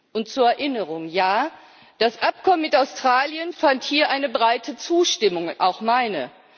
Und zur Erinnerung Ja, das Abkommen mit Australien fand hier eine breite Zustimmung, auch meine.